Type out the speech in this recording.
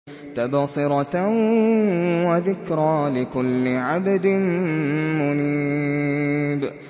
تَبْصِرَةً وَذِكْرَىٰ لِكُلِّ عَبْدٍ مُّنِيبٍ